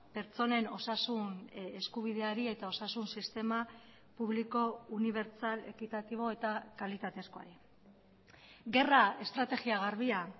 pertsonen osasun eskubideari eta osasun sistema publiko unibertsal ekitatibo eta kalitatezkoari gerra estrategia garbia